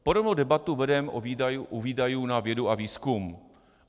Podobnou debatu vedeme u výdajů na vědu a výzkum.